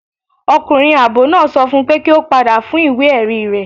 Ọkunrin aabọ naa sọ fún pe ki o pada fun iwe-ẹri rẹ